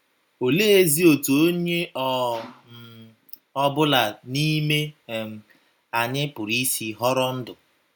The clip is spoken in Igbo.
Oleezi otú onye ọ um ọbụla n’ime um anyị pụrụ isi ‘ họrọ ndụ ’